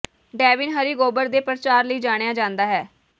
Devin ਹਰੀ ਗੋਬਰ ਦੇ ਪ੍ਰਚਾਰ ਲਈ ਜਾਣਿਆ ਜਾਂਦਾ ਹੈ